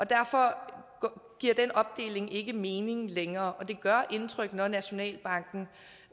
derfor giver den opdeling ikke mening længere det gør indtryk når nationalbanken